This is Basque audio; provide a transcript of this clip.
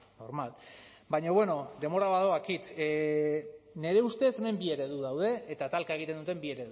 normal baina bueno denbora badoakit nire ustez hemen bi eredu daude eta talka egiten duten bi